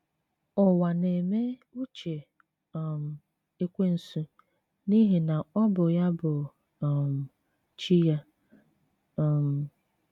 Ụwa na - eme uche um Ekwensu ’ihi na ọ bụ ya bụ um chi ya. um